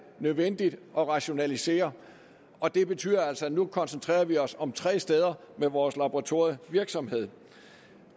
nødvendigt at rationalisere og det betyder altså at vi nu koncentrerer os om tre steder med vores laboratorievirksomhed